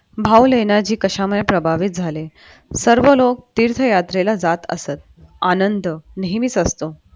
भाऊ लेण्याची कशामुळे प्रभावित झाले? सर्व लोक तिथे यात्रेला जात असत आनंद नेहमीच असतो.